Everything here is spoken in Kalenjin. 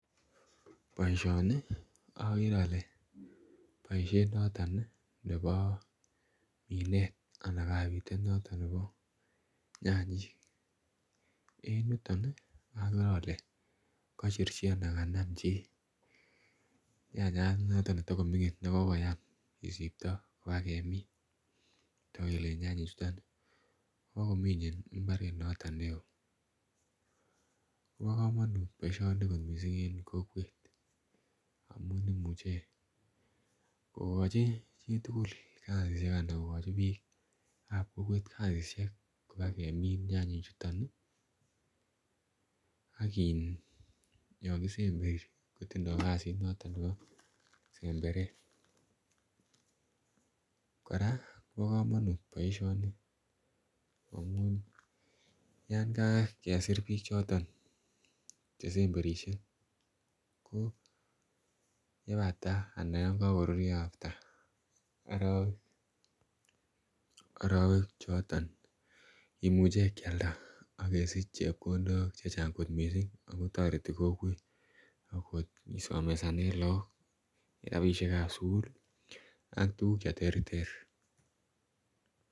Boisioni okere ole boisiet noton ih nebo kinet anan kabitet noton nebo nyanyik en yuton ih okere ole kochurchi anan kanam chii nyanyat noton netogoming'in nekokoyam kisipto kobakemin kotok kele nyanyik chuton ih bokomine mbaret noton neoo kobo komonut kot missing en kokwet amun imuche kokochi chitugul kasisiek anan kogochi biik ab kokwet kasisiek kobakemin nyanyik chuton ih ak in yon kisemberi kotindoo kasit noton nebo semberet. Kora kobo komunut boisioni amun yan kakesir biik choton chesemberisie ko yebata anan yon kokorurio after arowek arowek choton kimuche kialda akesich chepkondok chechang kot misssing ako toreti kokwet akot kisomesanen look rapisiekab sukul ak tuguk cheterter